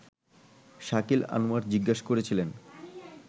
শাকিল আনোয়ার জিজ্ঞেস করেছিলেন